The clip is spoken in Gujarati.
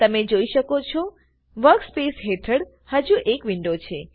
તમે જોઈ શકો છો વર્કસ્પેસ હેઠળ હજુ એક વિન્ડો છે